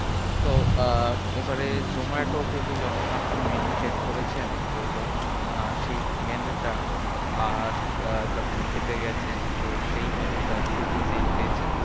তো আহ এবারে zomato থেকে যখন আপনি menu check করেছেন, তো যখন আহ সেই menu টা আর আহ যখন খেতে গেছেন তো সেই menu টা দুটো কি same পেয়েছেন?